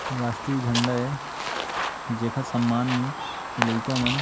राष्ट्रिया झंडा है जेकर सम्मान में इ लइका मन --